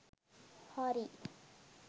හරි